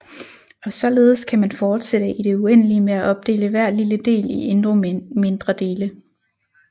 Og således kan man fortsætte i det uendelige med at opdele hver lille del i endnu mindre dele